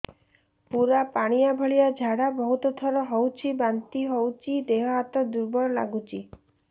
ପୁରା ପାଣି ଭଳିଆ ଝାଡା ବହୁତ ଥର ହଉଛି ବାନ୍ତି ହଉଚି ଦେହ ହାତ ଦୁର୍ବଳ ଲାଗୁଚି